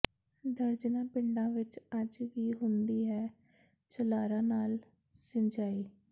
ਦਰਜਨਾਂ ਪਿੰਡਾਂ ਵਿੱਚ ਅੱਜ ਵੀ ਹੁੰਦੀ ਹੈ ਝਲਾਰਾਂ ਨਾਲ ਸਿੰਜਾਈ